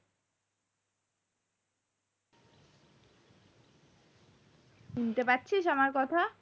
শুনতে পাচ্ছিস আমার কথা